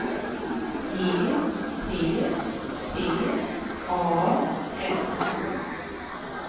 E T T A N